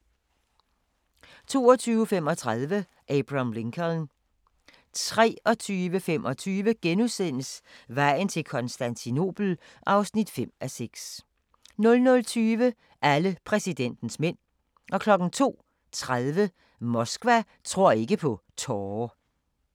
22:35: Abraham Lincoln 23:25: Vejen til Konstantinopel (5:6)* 00:20: Alle præsidentens mænd 02:30: Moskva tror ikke på tårer